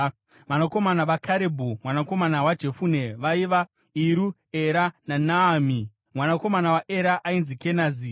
Vanakomana vaKarebhu mwanakomana waJefune vaiva: Iru, Era naNaami. Mwanakomana waEra ainzi Kenazi.